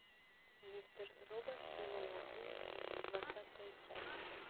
мистер робот сезон один двадцатая часть